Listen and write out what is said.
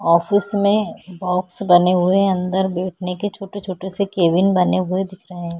Office में box बने हुए हैं अंदर बैठने के छोटे-छोटे से केबिन बने हुए दिख रहे हैं।